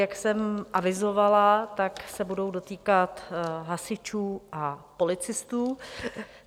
Jak jsem avizovala, tak se budou dotýkat hasičů a policistů.